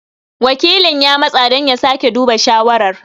Wakilin ya matsa don sake duba shawarar.